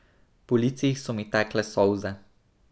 Po licih so mi tekle solze.